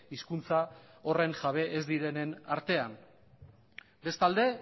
hizkuntza horren jabe ez direnen artean bestalde